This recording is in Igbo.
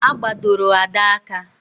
A gbadoro Ada aka